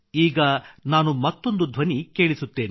ಈಗ ನಾನು ಮತ್ತೊಂದು ಧ್ವನಿ ಕೇಳಿಸುತ್ತೇನೆ